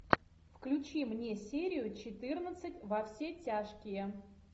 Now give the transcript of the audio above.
включи мне серию четырнадцать во все тяжкие